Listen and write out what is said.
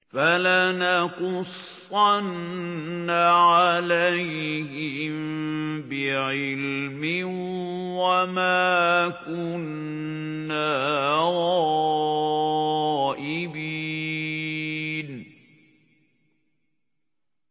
فَلَنَقُصَّنَّ عَلَيْهِم بِعِلْمٍ ۖ وَمَا كُنَّا غَائِبِينَ